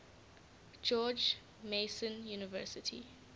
george mason university